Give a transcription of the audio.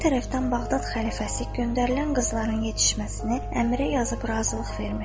Bir tərəfdən Bağdad xəlifəsi göndərilən qızların yetişməsini Əmrə yazıb razılıq vermişdi.